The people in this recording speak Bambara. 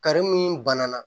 mun bana na